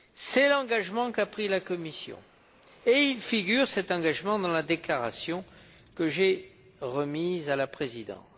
C'est l'engagement qu'a pris la Commission et il figure dans la déclaration que j'ai remise à la Présidence.